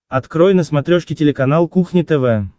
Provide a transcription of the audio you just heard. открой на смотрешке телеканал кухня тв